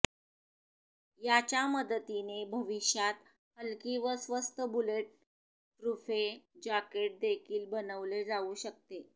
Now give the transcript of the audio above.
याच्या मदतीने भविष्यात हल्की व स्वस्त बुलेट प्रुफे जॅकेट देखील बनवले जाऊ शकते